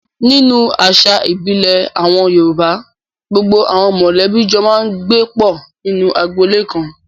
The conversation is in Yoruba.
Nínú àṣà ìbílẹ̀ àwọn Yorùbá, gbogbo àwọn mọ̀lẹ́bí jọ máa ń gbé pọ̀ nínú agboolé kan.